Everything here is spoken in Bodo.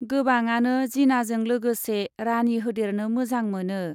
गोबाङानो जिनाजों लागोसे 'राणी' होदेरनो मोजां मोनो ।